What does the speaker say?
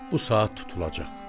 Bu saat tutulacaq.